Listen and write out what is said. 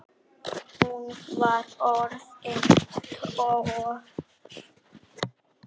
Hún var orðin tólf!